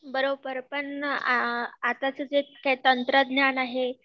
बरोबर पण अ आताचे जे तंत्रज्ञान आहे